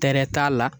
Tɛrɛ t'a la